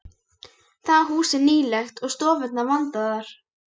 Það hús er nýlegt og stofurnar vandaðar.